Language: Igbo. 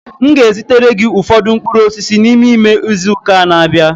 M ga-ezitere gị ụfọdụ mkpụrụ osisi si n'ime ime izu ụka na-abịa.